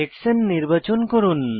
হেক্সানে নির্বাচন করুন